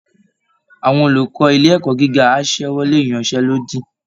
Àwọn olùkọ́ ilé ẹ̀kọ́ gíga á ṣẹ́wọ́lé ìyanṣẹ́lódì